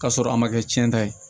K'a sɔrɔ a ma kɛ cɛn ta ye